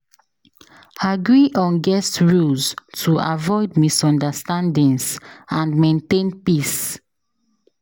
Agree on guest rules to avoid misunderstandings and maintain peace.